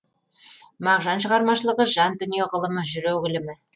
мағжан шығармашылығы жан дүние ғылымы жүрек ілімі